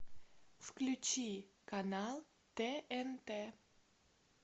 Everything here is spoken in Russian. включи канал тнт